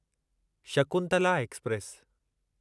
Shakuntala express